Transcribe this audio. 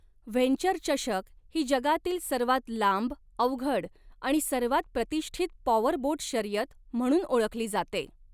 Venture चषक ही जगातील सर्वांत लांब, अवघड आणि सर्वांत प्रतिष्ठित पॉवरबोट शर्यत म्हणून ओळखली जाते.